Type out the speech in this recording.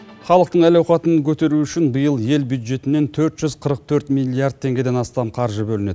халықтың әл ауқатын көтеру үшін биыл ел бюджетінен төрт жүз қырық төрт миллиард теңгеден астам қаржы бөлінеді